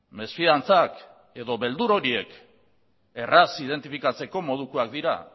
mesfidantzak edo beldur horiek erraz identifikatzeko modukoak dira